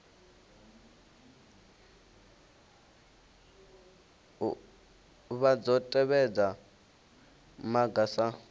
vha dzo tevhedza maga sa